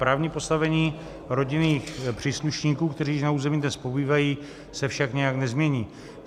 Právní postavení rodinných příslušníků, kteří na území dnes pobývají, se však nijak nezmění.